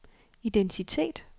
identitet